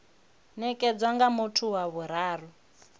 nekedzwa nga muthu wa vhuraru